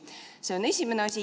See on esimene asi.